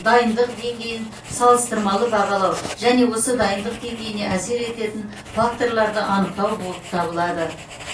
дайындық деңгейін салыстырмалы бағалау және осы дайындық деңгейіне әсер ететін факторларды анықтау болып табылады